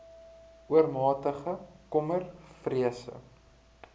oormatige kommer vrese